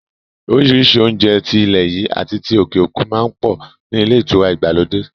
Orísìírísìí oúnjẹ ti ilẹ̀ yìí àti ti òkè òkun má ń pọ̀ ní ilé ìtura ìgbàlódé